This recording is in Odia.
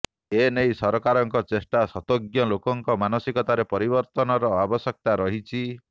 ଏ ନେଇ ସରକାରଙ୍କ ଚେଷ୍ଟା ସ୍ୱତ୍ତେ୍ୱ ଲୋକଙ୍କର ମାନସିକତାରେ ପରିବର୍ତନର ଆବଶ୍ୟକତା ରହିଛି